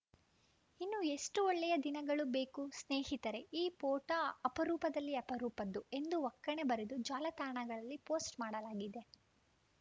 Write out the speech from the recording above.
ಇನ್ನೂ ಎಷ್ಟುಒಳ್ಳೆಯ ದಿನಗಳು ಬೇಕು ಸ್ನೇಹಿತರೇ ಈ ಪೋಟಾ ಅಪರೂಪದಲ್ಲಿ ಅಪರೂಪದ್ದು ಎಂದು ಒಕ್ಕಣೆ ಬರೆದು ಜಾಲತಾಣಗಳಲ್ಲಿ ಪೋಸ್ಟ್‌ ಮಾಡಲಾಗಿದೆ